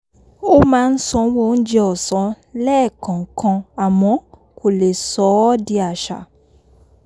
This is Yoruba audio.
ó máa ń sanwó oúnjẹ ọ̀sán lẹ́ẹ̀kọ̀ọ̀kan àmọ́ kò lè sọ ọ́ di àṣà